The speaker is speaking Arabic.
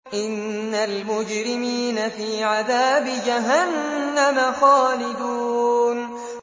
إِنَّ الْمُجْرِمِينَ فِي عَذَابِ جَهَنَّمَ خَالِدُونَ